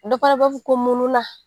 Dɔ fana b'a fɔ ko mununan.